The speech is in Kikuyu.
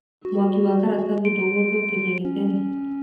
Mwaki wa karatathi ndũngetherũkia gĩtheri.